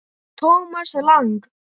Thomas Lang